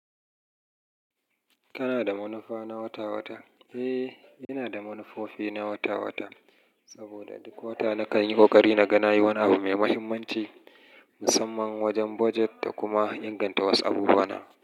Kana da manufa na wata-wata? Eh, ina da manufofi na wata-wata saboda duk wata nakan yi ƙoƙari naga nayi wani abu mai muhimmanci musamman wajen budjet da kuma inganta wasu abubuwana.